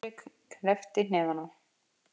Friðrik kreppti hnefana.